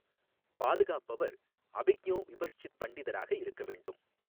பாதுகாப்பவர் அபிஜ்ஞோ விபஷ்சித் பண்டிதராக இருக்கவேண்டும்.